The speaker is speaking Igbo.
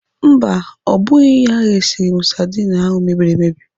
Mba, ọ bụghị ya resịrị m sadin ahụ mebiri emebi.